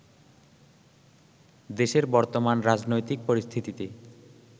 দেশের বর্তমান রাজনৈতিক পরিস্থিতিতে